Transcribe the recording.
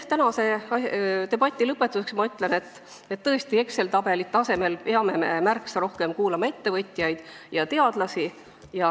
Tänase debati lõpetuseks ma ütlen, et tõesti, Exceli tabelite asemel peame me märksa rohkem kuulama ettevõtjaid ja teadlasi.